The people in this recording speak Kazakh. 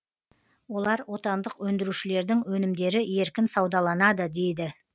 олар отандық өндірушілердің өнімдері еркін саудаланады дейді